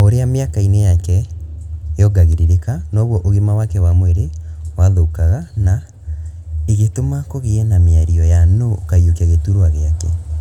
O ũrĩa mĩaka-inĩ yake yongagĩrĩkaga noguo ũgima wake wa mwĩrĩ wathukaga na igĩtuma kũgĩe na mĩario ya nũũ ũkaiyũkia gĩturua gĩake